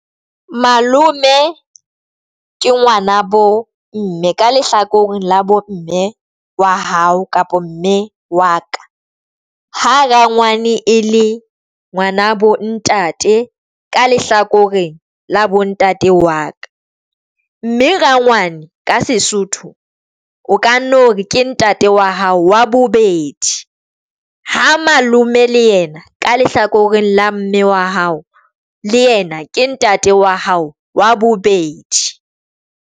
Malome ke ngwana bomme ka lehlakoreng la bomme wa hao kapa mme wa ka. Ha rangwane e le ngwana bo ntate ka lehlakoreng la bontate wa ka, mme rangwane ka Sesotho. O ka no re ke ntate wa hao wa bobedi ha malome le yena ka lehlakoreng la mme wa hao le yena ke ntate wa hao wa bobedi.